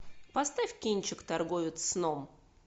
поставь кинчик торговец сном